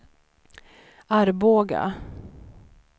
Arboga